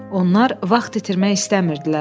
Onlar vaxt itirmək istəmirdilər.